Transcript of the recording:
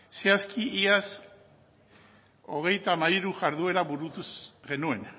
zehazki iaz hogeita hamairu jarduera burutu genuen